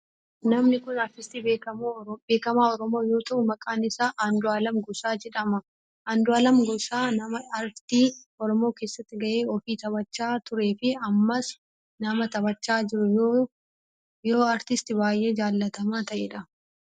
Namni kun aartistii beekamaa oromoo yoo ta'u maqaan isaa Andu'aalem Gosaa jedhama. Andu'aalem Gosa nama aartii oromoo keessatti gahee ofii taphachaa turee fi ammas nama taphachaa jiru yoo aartistii baayyee jaalatamaa ta'edha.